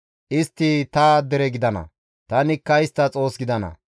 Istti ta dere gidana; tanikka istta Xoos gidana.